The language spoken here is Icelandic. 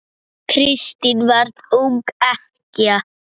Kristín varð ung ekkja.